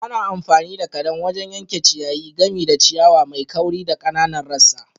Ana amfani da kadan wajen yanke ciyayi, gami da ciyawa mai kauri da ƙananan rassa.